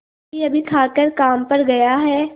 अभीअभी खाकर काम पर गया है